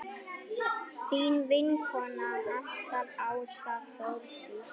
Þín vinkona alltaf, Ása Þórdís.